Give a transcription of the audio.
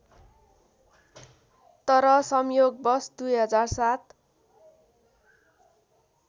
तर संयोगवश २००७